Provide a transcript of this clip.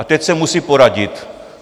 A teď se musí poradit.